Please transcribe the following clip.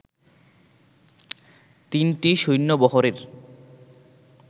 তিনটি সৈন্যবহরের